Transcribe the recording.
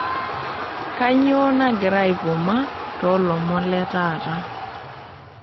Kanyoo nagira aivuma too ilomon le taata